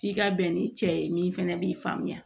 F'i ka bɛn ni cɛ ye min fɛnɛ b'i faamuya